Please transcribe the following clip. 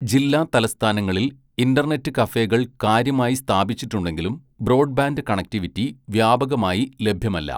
ജില്ലാ തലസ്ഥാനങ്ങളിൽ ഇന്റർനെറ്റ് കഫേകൾ കാര്യമായി സ്ഥാപിച്ചിട്ടുണ്ടെങ്കിലും, ബ്രോഡ്ബാൻഡ് കണക്റ്റിവിറ്റി വ്യാപകമായി ലഭ്യമല്ല.